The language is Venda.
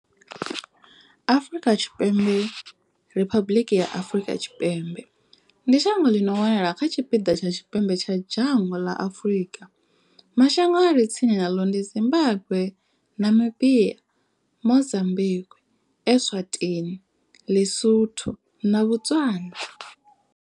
Afrika Tshipembe Riphabuḽiki ya Afrika Tshipembe ndi shango ḽi no wanala kha tshipiḓa tsha tshipembe tsha dzhango ḽa Afurika. Mashango a re tsini naḽo ndi Zimbagwe, Namibia, Mozambikwi, Eswatini, Ḽisotho na Botswana.